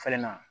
Falenna